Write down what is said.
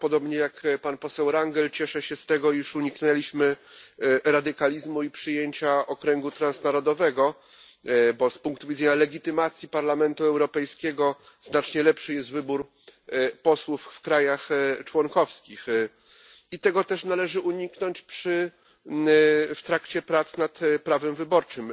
Ja, podobnie jak pan poseł Rangel, cieszę się z tego, iż uniknęliśmy radykalizmu i przyjęcia okręgu transnarodowego gdyż z punktu widzenia legitymacji Parlamentu Europejskiego znacznie lepszy jest wybór posłów w krajach członkowskich i tego też należy uniknąć w trakcie prac nad prawem wyborczym.